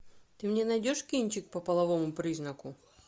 ты мне найдешь кинчик по половому признаку